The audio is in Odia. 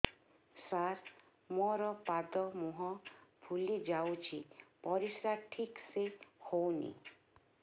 ସାର ମୋରୋ ପାଦ ମୁହଁ ଫୁଲିଯାଉଛି ପରିଶ୍ରା ଠିକ ସେ ହଉନି